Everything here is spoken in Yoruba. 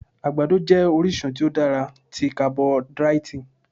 Àgbàdo jẹ́ orísun tí ó dára tí carboidratì.